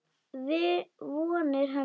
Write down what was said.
Vonir hennar.